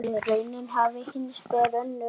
Raunin hafi hins vegar önnur.